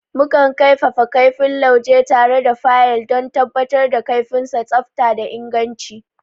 Mukan kaifafa kaifin lauje tare da fayil don tabbatar da kaifinnsa, tsafta da inganci.